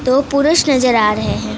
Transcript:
दो पुरुष नजर आ रहे है।